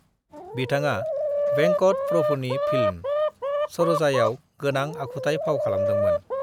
बिथाङा वेंकट प्रभुनि फिल्म सरोजाआव गोनां आखुथाय फाव खालामदोंमोन।